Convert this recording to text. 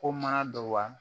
Ko mana don wa